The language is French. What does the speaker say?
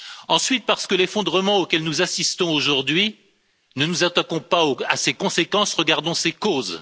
Ensuite, parce que l'effondrement auquel nous assistons aujourd'hui, ne nous attaquons pas à ses conséquences, regardons ses causes.